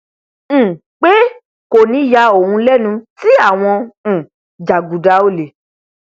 um pé kò ní yà òun lẹnu tí àwọn um jàgùdà olè